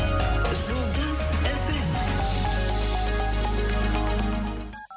жұлдыз эф эм